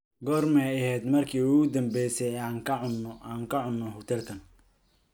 goorma ayay ahayd markii ugu dambaysay ee aan ka cunno hotelkan